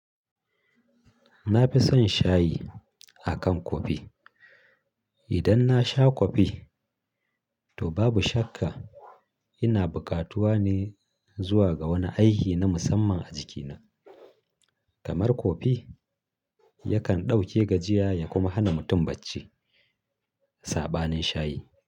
Na fi son shayi a kan kofi. Idan na sha kofi, to babu shakka ina buƙatuwa ne zuwa ga wani aiki na musamman a jikina. Kamar kofi yakan ɗauke gajiya ya kuma hana mutum bacci. Saɓanin shayi.